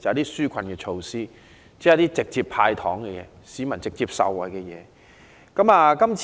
是紓困措施，即直接讓市民受惠的"派糖"措施。